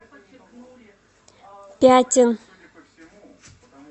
пятин